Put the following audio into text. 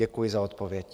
Děkuji za odpověď.